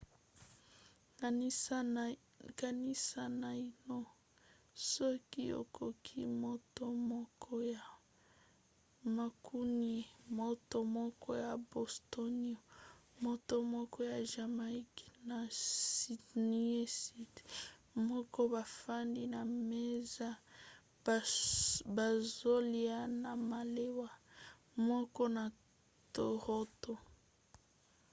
kanisa naino soki okoki moto moko ya mancunien moto moko ya bostonien moto moko ya jamaïque na sydneysider moko bafandi na mesa bazolya na malewa moko na toronto